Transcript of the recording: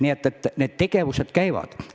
Nii et tegevused käivad.